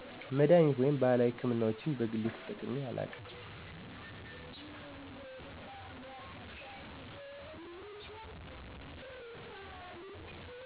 መድሃኒቶች ወይም ባህላዊ ሕክምናዎችን በግሌ ተጠቅሜ አላውቅም።